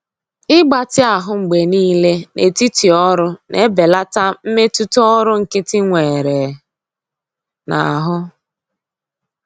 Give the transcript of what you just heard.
Ịgbatị ahụ mgbe niile n'etiti ọrụ na-ebelata mmetụta ọrụ nkịtị nwere n'ahụ.